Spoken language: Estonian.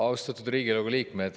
Austatud Riigikogu liikmed!